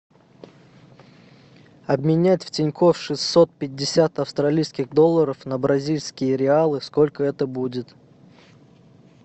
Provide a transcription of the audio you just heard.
обменять в тинькофф шестьсот пятьдесят австралийских долларов на бразильские реалы сколько это будет